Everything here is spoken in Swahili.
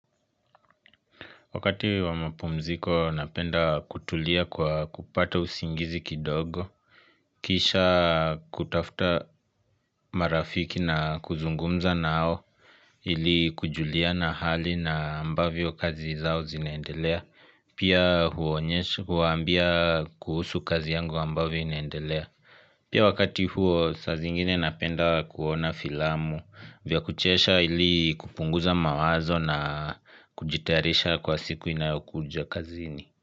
Wakati wa mapumziko napenda kutulia kwa kupata usingizi kidogo, kisha kutafuta marafiki na kuzungumza nao ili kujuliana hali na ambavyo kazi zao zinaendelea, pia huambia kuhusu kazi yangu ambavyo inaendelea. Pia wakati huo sa zingine napenda kuona filamu vya kuchesha ili kupunguza mawazo na kujitarisha kwa siku inayokuja kazini.